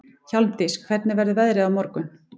Hjálmdís, hvernig verður veðrið á morgun?